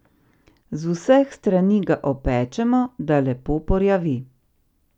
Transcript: Z vseh strani ga opečemo, da lepo porjavi.